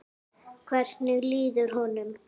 Hvernig líður honum?